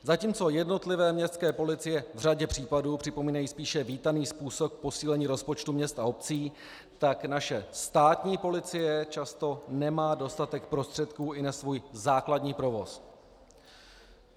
Zatímco jednotlivé městské policie v řadě případů připomínají spíše vítaný způsob posílení rozpočtu měst a obcí, tak naše státní policie často nemá dostatek prostředků i na svůj základní provoz.